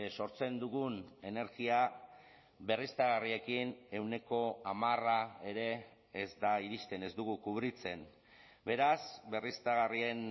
sortzen dugun energia berriztagarriekin ehuneko hamara ere ez da iristen ez dugu kubritzen beraz berriztagarrien